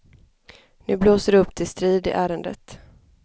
Nu blåser det upp till strid i ärendet.